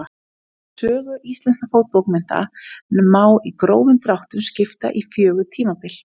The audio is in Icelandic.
Sögu íslenskra fornbókmennta má í grófum dráttum skipta í fjögur tímabil.